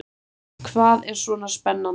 Hvað er svona spennandi?